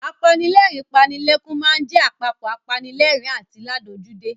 Apanilẹ́rìn-ín-panilẹ́kún máa ń jẹ apapọ̀ apanilẹ́rìn-ín àti ládojúdé.